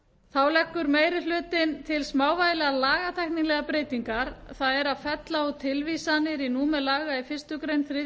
þá leggur meiri hlutinn til smávægilegar lagatæknilegar breytingar það er að fella út tilvísanir í númer laga í fyrstu grein þriðju